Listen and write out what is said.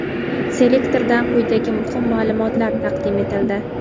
Selektordan quyidagi muhim ma’lumotlar taqdim etildi:.